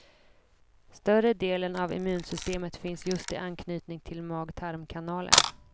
Större delen av immunsystemet finns just i anknytning till magtarmkanalen.